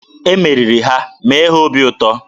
E meriri ha, mee ha obi ụtọ!